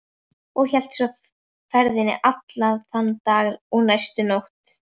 Og hélt svo ferðinni allan þann dag og næstu nótt.